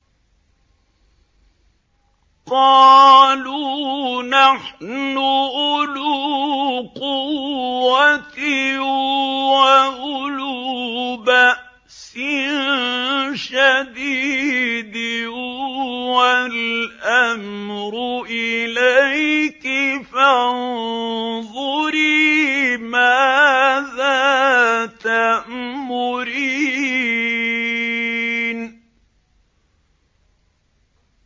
قَالُوا نَحْنُ أُولُو قُوَّةٍ وَأُولُو بَأْسٍ شَدِيدٍ وَالْأَمْرُ إِلَيْكِ فَانظُرِي مَاذَا تَأْمُرِينَ